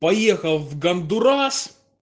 поехал в гондурас